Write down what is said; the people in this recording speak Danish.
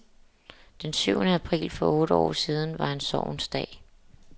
Den syvende april for otte år siden var en sorgens dag.